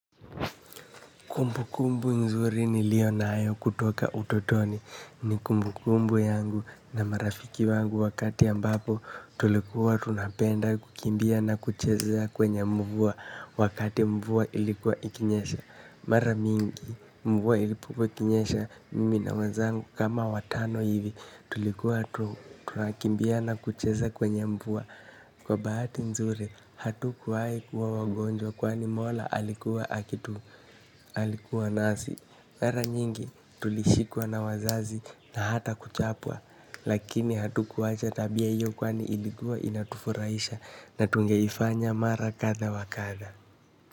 Kumbu kumbu nzuri nilio nayo kutoka utotoni. Ni kumbu kumbu yangu na marafiki wangu wakati ambapo tulikuwa tunapenda kukimbia na kucheza kwenye mvua wakati mvua ilikuwa ikinyesha. Mara mingi mvua ilipokuwa ikinyesha mimi na wenzangu kama watano hivi tulikuwa tunakimbia na kucheza kwenye mvua. Kwa bahati nzuri, hatukuwahi kuwa wagonjwa kwani mola alikuwa nasi. Mara nyingi tulishikwa na wazazi na hata kuchapwa lakini hatukuwacha tabia hiyo kwani ilikuwa inatufurahisha na tungeifanya mara kadha wa kadha.